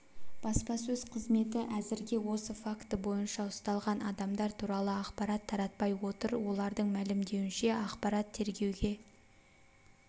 баспасөз қызметі әзірге осы факті бойынша ұсталған адамдар туралы ақпарат таратпай отыр олардың мәлімдеуінше ақпарат тергеуге